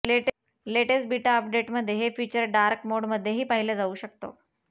latest beta अपडेटमध्ये हे feature dark मोडमध्येही पाहिलं जाऊ शकतं